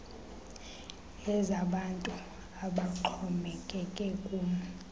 ezabantu abaxhomekeke kum